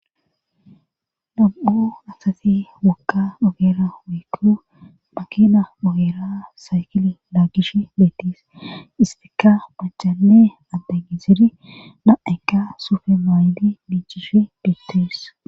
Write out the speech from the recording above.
Dab'o asati wokka ogeera weekku makina ogeera saykile laagish beetis istika macane adde giziri na'eka sufe maayili biichishi biittees.